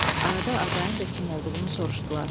Arada Azayın da kim olduğunu soruşdular.